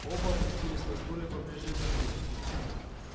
оба опустились на стулья поближе к огню